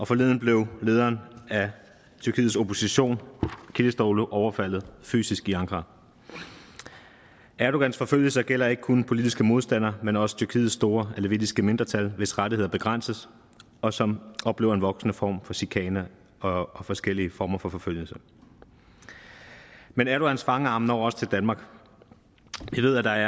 forleden blev lederen af tyrkiets opposition kiliçdaroglu overfaldet fysisk i ankara erdogans forfølgelser gælder ikke kun politiske modstandere men også tyrkiets store alevittiske mindretal hvis rettigheder begrænses og som oplever en voksende form for chikane og og forskellige former for forfølgelse men erdogans fangarme når også til danmark vi ved at der